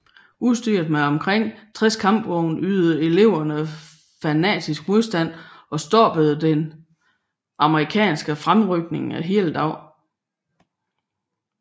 Udstyret med omkring 60 kampvogne ydede eleverne fanatisk modstand og stoppede den amerikanske fremrykning hele dagen